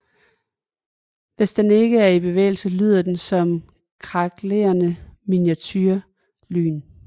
Hvis den ikke er i bevægelse lyder den som kraklende miniature lyn